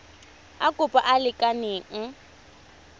a kopo a a lekaneng